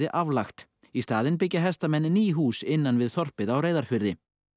aflagt í staðinn byggja hestamenn ný hús innan við þorpið á Reyðarfirði